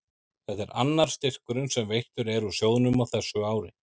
Þetta er annar styrkurinn sem veittur er úr sjóðnum á þessu ári.